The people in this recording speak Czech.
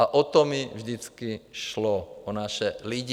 A o to mi vždycky šlo, o naše lidi.